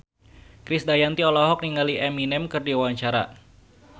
Krisdayanti olohok ningali Eminem keur diwawancara